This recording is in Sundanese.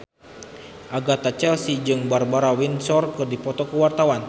Agatha Chelsea jeung Barbara Windsor keur dipoto ku wartawan